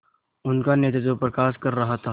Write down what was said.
उनका नेतृत्व प्रकाश कर रहा था